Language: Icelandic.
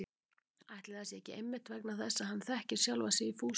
Ætli það sé ekki einmitt vegna þess að hann þekkir sjálfan sig í Fúsa